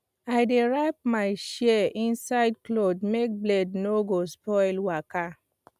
i dey wrap my shears inside cloth make blade no go spoil waka